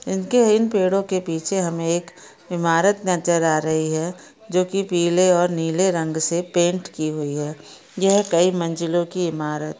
इनके इन पेड़ो के पीछे हमें एक इमारत नजर आ रही है जो की पीले और नीले रंग से पेन्ट की हुई है यह कई मंजिलों की इमारत--